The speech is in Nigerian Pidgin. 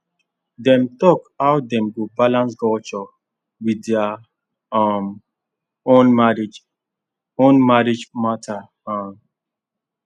dem talk how dem go balance culture with their um own marriage own marriage matter um